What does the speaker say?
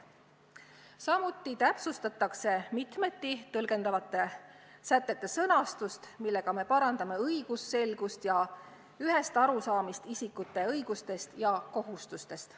Samuti täpsustatakse mitmeti tõlgendatavate sätete sõnastust, millega me suurendame õigusselgust ja parandame arusaamist isikute õigustest ja kohustustest.